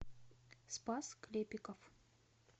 спас клепиков